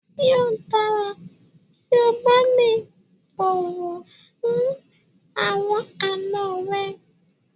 Yóò dára tí o bá lè bọ̀wọ̀ fún àwọn àna rẹ.